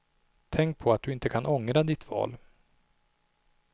Tänk på att du inte kan ångra ditt val.